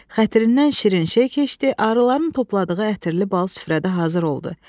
Xətirindən şirin şey keçdi, arıların topladığı ətirli bal süfrədə hazır oldu.